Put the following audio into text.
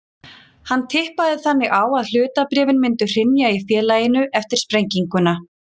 Hann tippaði þannig á að hlutabréfin myndu hrynja í félaginu eftir sprenginguna.